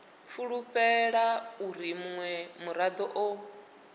fulufhela uri munwe murado o